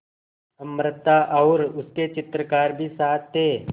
अमृता और उसके चित्रकार भी साथ थे